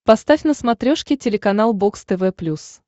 поставь на смотрешке телеканал бокс тв плюс